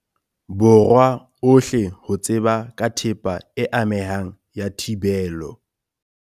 Borwa ohle ho tseba ka thepa e amehang ya thibelo.